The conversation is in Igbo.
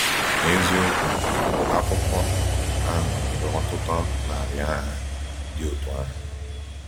N’eziokwu, akụkọ ahụ nwere ọtụtụ narị aha dị otú ahụ.